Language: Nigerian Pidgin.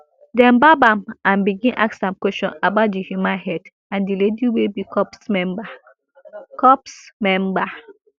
dem gbab am and begin ask am question about di human head and di lady wey be corps member corps member